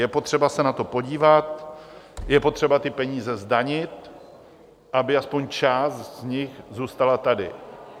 Je potřeba se na to podívat, je potřeba ty peníze zdanit, aby aspoň část z nich zůstala tady.